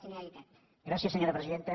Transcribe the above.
gràcies senyora presidenta